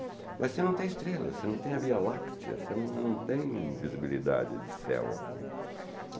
Mas você não tem estrelas, você não tem a Via Láctea, você não não tem visibilidade de céu aqui.